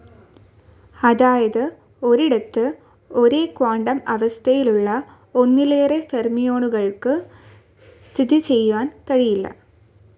അതായത് ഒരിടത്തു ഒരേ ക്വാണ്ടം അവസ്ഥയിലുള്ള ഒന്നിലേറെ ഫെര്മിയോണുകൾക്കു സ്ഥിതിചെയ്യാൻ കഴിയില്ല.